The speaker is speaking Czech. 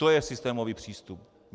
To je systémový přístup.